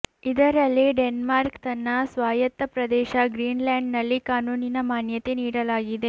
ಇದರಲ್ಲಿ ಡೆನ್ಮಾರ್ಕ್ ತನ್ನ ಸ್ವಾಯತ್ತ ಪ್ರದೇಶ ಗ್ರೀನ್ ಲ್ಯಾಂಡ್ನಲ್ಲಿ ಕಾನೂನಿನ ಮಾನ್ಯತೆ ನಿಡಲಾಗಿದೆ